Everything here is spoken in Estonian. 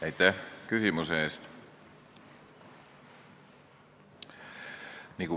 Aitäh küsimuse eest!